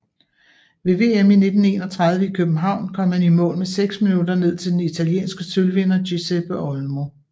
Ved VM i 1931 i København kom han i mål med seks minutter ned til den italienske sølvvinder Giuseppe Olmo